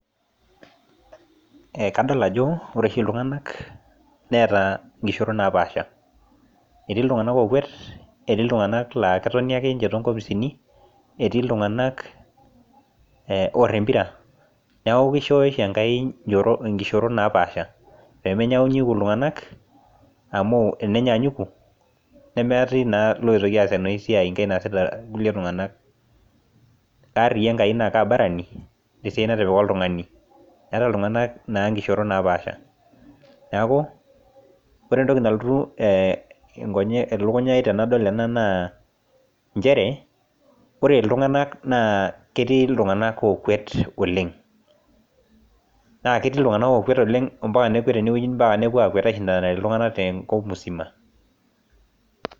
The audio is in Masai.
Kadol ajo ore oshi iltung'anak neeta nkishoorot napaasha. Etii iltung'anak ookwet, etii iltung'anak laa ketoni ake ninche toonkopisini, etii iltung'anak oorr empira neeku keishooyo oshi enkai nkishoorot naapaasha pemenyanyuku iltung'anak amu enenyanyuku nemetii naa iloitoki aas enoshi siai enkae naasita irkulie tung'anak. Arriyia enkai naaki abarani tesiai natipika oltung'ani. Etaa iltung'anak naa nkishoorot naapaasha. Neeku ore entoki nalotu elukunya ai tenadol ena naa nchere, ore iltung'anak naa ketii iltung'anak ookwet oleng. Naa ketii iltung'anak ookwet oleng ompaka nekwet tenewueji ompaka nepwo aishindanare iltung'anak tenkop mzima